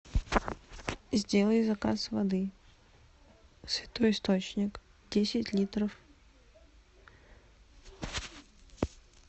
сделай заказ воды святой источник десять литров